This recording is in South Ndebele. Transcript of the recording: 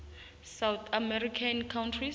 south american countries